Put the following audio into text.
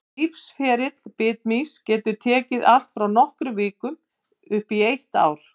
Lífsferill bitmýsins getur tekið allt frá nokkrum vikum upp í eitt ár.